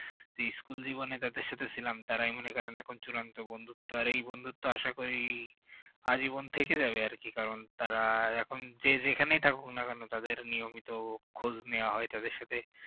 school জীবনে যাদের সাথে ছিলাম তারাই মনে করেন এখন চূড়ান্ত বন্ধুত্ব আর এই বন্ধুত্ব আশা করি আজীবন থেকে যাবে আর কি কারণ তারা আহ যে যেখানেই থাকুক না কেন নিয়মিত খোঁজ নেয়া হয় তাদের সাথে